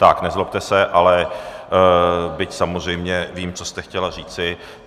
Tak, nezlobte se, ale... byť samozřejmě vím, co jste chtěla říci.